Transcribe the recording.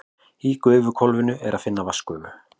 Í gufuhvolfinu er að finna vatnsgufu.